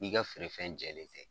N'i ka feere fɛn jɛlen tɛ